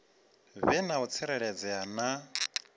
vhe na u tsireledzea na